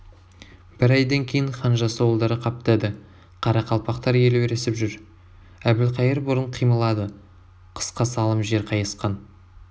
бір айдан кейін хан жасауылдары қаптады қарақалпақтар елеуресіп жүр әбілқайыр бұрын қимылады қысқа салым жер қайысқан